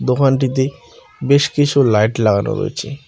দোকানটিতে বেশ কিছু লাইট লাগানো রয়েছে।